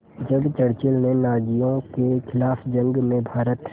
जब चर्चिल ने नाज़ियों के ख़िलाफ़ जंग में भारत